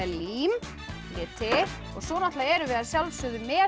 lím liti svo erum við að sjálfsögðu með